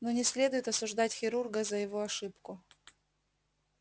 но не следует осуждать хирурга за его ошибку